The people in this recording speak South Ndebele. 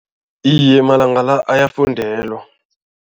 Iye, malanga la ayafundelwa.